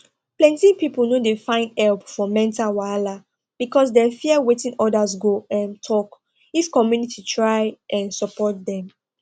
plenty people no dey find help for mental wahala because dem fear wetin others go um talk if community try um support dem